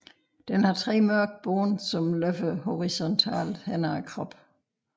Den har tre mørke bånd som løber horisontalt hen ad kroppen